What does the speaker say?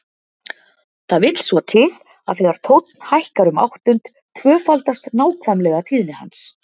Það vill svo til að þegar tónn hækkar um áttund tvöfaldast nákvæmlega tíðni hans.